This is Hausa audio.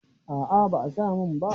A'a ba a sa min ba.